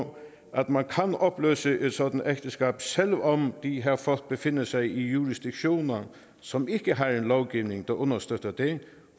at man kan opløse et sådant ægteskab selv om de her folk befinder sig i jurisdiktioner som ikke har en lovgivning der understøtter det